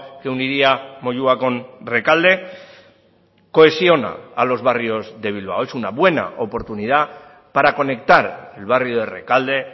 que uniría moyua con rekalde cohesiona a los barrios de bilbao es una buena oportunidad para conectar el barrio de rekalde